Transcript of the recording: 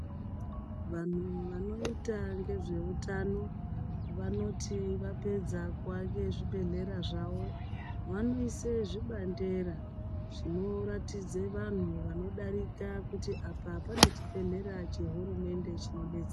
Vanthu vanoita ngezveutano vanoti vapedza kuvake zvibhedhlera zvavo vanoise zvibandera zvinoratidze vanthu vanodarika kuti apa pane chibhedhlera chehurumende chinodetsera .